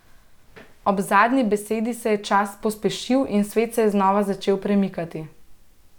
Ob zadnji besedi se je čas pospešil in svet se je znova začel premikati.